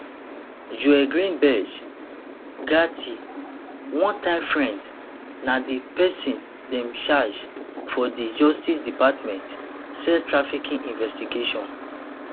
joel greenberg gaetz onetime friend na di pesin dem charge for di justice department sex trafficking investigation